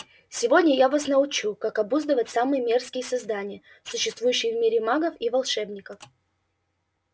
сегодня я вас научу как обуздывать самые мерзкие создания существующие в мире магов и волшебников